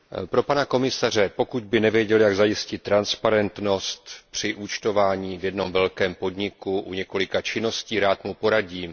Pro pana komisaře pokud by nevěděl, jak zajistit transparentnost při účtování v jednom velkém podniku u několika činností, rád mu poradím.